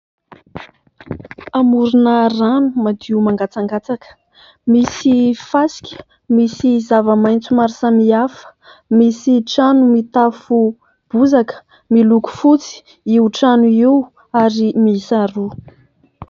Amorona rano madio mangatsakatsaka, misy fasika, misy zavamaitso maro samihafa, misy trano mitafo bozaka ; miloko fotsy io trano io ary miisa roa.